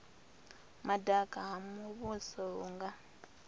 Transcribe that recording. madaka ha muvhuso hu nga